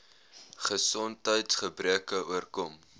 gesondheids gebreke oorkom